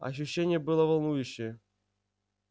ощущение было волнующее